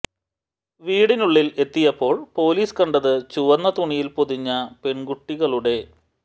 വീടിനുള്ളിൽ എത്തിയപ്പോൾ പൊലീസ് കണ്ടത് ചുവന്ന തുണിയിൽ പൊതിഞ്ഞ പെൺകുട്ടികളുടെ